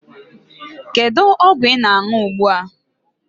Kedu ọgwụ ị na-aṅụ ugbu a?